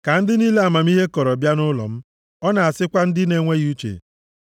“Ka ndị niile amamihe kọrọ bịa nʼụlọ m.” Ọ na-asịkwa ndị na-enweghị uche,